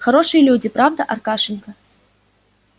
хорошие люди правда аркашенька